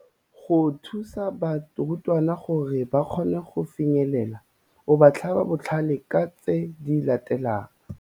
Go thusa barutwana gore ba kgone go finyelela, o ba tlhaba botlhale ka tse di latelang -